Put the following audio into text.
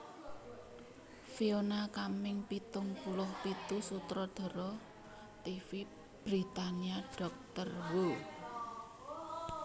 Fiona Cumming pitung puluh pitu sutradara tv Britania Doctor Who